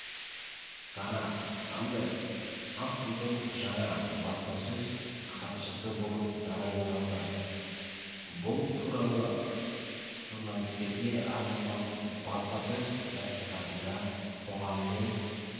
сара сандерс ақ үйдің жаңа баспасөз хатшысы болып тағайындалды бұл туралы журналистерге арналған баспасөз мәслихатында қоғаммен